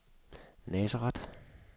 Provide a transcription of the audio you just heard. Nazareth